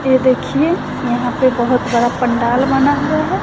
ये देखिए यहां पर बहुत बड़ा पंडाल बना हुआ है।